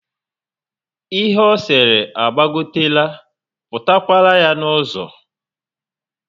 Ihe ọ sere agbagotera, pụta kwara yá n'uzo